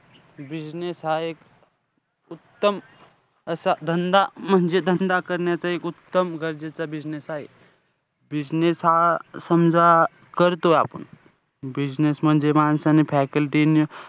Business हा एक उत्तम असा धंदा म्हणजे म्हणजे धंदा करण्याचा एक उत्तम गरजेचं business आहे. business हा समजा करतोय आपण, business म्हणजे माणसाने faculty,